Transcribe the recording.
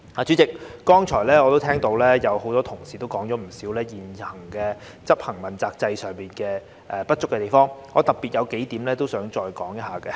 主席，我剛才也聽到很多同事說了不少現時執行問責制上的不足地方，我想特別討論數點。